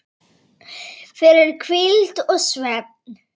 fyrir hvíld og svefn